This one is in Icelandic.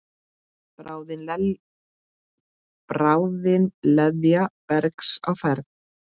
Bráðin leðja bergs á ferð.